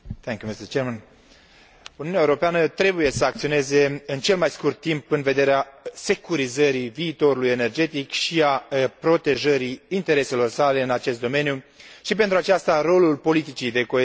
Uniunea Europeană trebuie să acționeze în cel mai scurt timp, în vederea securizării viitorului energetic și a protejării intereselor sale în acest domeniu și, pentru aceasta, rolul politicii de coeziune este crucial.